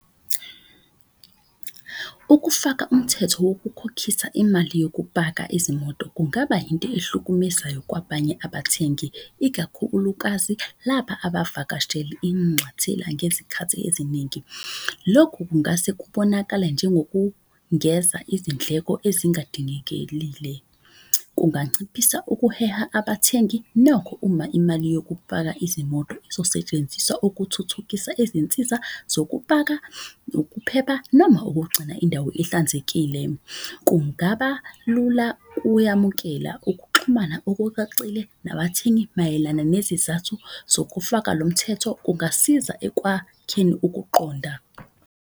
Ukufaka umthetho wokukhokhisa imali yokupaka izimoto kungaba yinto ahlukumezayo kwabanye abathengi. Ikakhulukazi laba inxathela ngezikhathi eziningi. Lokhu kungase kubonakala njengokungeza izindleko ezingadingekelile kunganciphisa ukuheha abathengi. Uma imali yokupaka izimoto ezosetshenziswa ukuthuthukisa izinsiza zokupaka, ukuphepha. Noma ukugcina indawo ihlanzekile kungaba lula kuyamukela. Ukuxhumana okucacile nabathengi mayelana nezizathu zokufaka lo mthetho. Kungasiza ekwakheni ukuqonda.